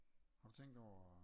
Har du tænkt over